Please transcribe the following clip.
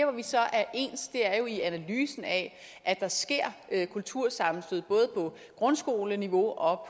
vi så er ens er jo i analysen af at der sker kultursammenstød både på grundskoleniveau og